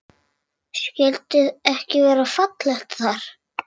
Skyldi ekki vera fallegt þar?